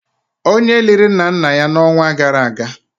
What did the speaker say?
onye liri nna nna ya n'ọnwa gara aga